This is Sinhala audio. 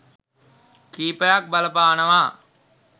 කිහිපයක් බලපානවා.